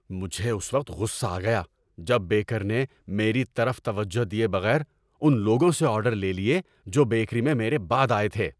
مجھے اس وقت غصہ آ گیا جب بیکر نے، میری طرف توجہ دیے بغیر، ان لوگوں سے آرڈر لے لیے جو بیکری میں میرے بعد آئے تھے۔